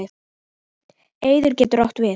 Eyðir getur átt við